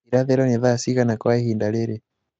irathīro nī thaa cigana kwa īhinda rīrī